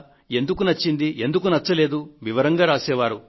ఎందుకు నచ్చిందీ లేదా ఎందుకు నచ్చలేదనేది వివరంగా రాసే వారు